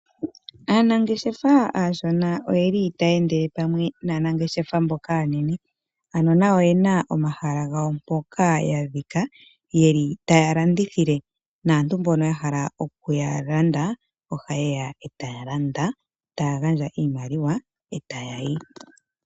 Aanangeshefa aashona oyeli taya endele pamwe naanengeshefa mboka aanene, ano nayo oyena omahala gawo mpoka yadhika, yeli taya landithile. Aantu mboka yahala okuya landa, ohayeya e taya landa, taya gandja iimaliwa, e tayayi.